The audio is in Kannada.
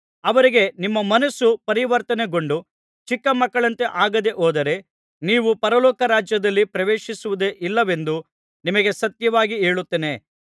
ಅವರಿಗೆ ನಿಮ್ಮ ಮನಸ್ಸು ಪರಿವರ್ತನೆಕೊಂಡು ಚಿಕ್ಕ ಮಕ್ಕಳಂತೆ ಆಗದೇ ಹೋದರೆ ನೀವು ಪರಲೋಕ ರಾಜ್ಯದಲ್ಲಿ ಪ್ರವೇಶಿಸುವುದೇ ಇಲ್ಲವೆಂದು ನಿಮಗೆ ಸತ್ಯವಾಗಿ ಹೇಳುತ್ತೇನೆ